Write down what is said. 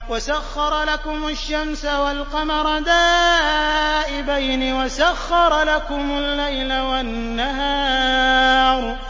وَسَخَّرَ لَكُمُ الشَّمْسَ وَالْقَمَرَ دَائِبَيْنِ ۖ وَسَخَّرَ لَكُمُ اللَّيْلَ وَالنَّهَارَ